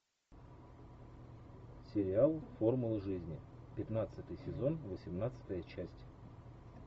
сериал формулы жизни пятнадцатый сезон восемнадцатая часть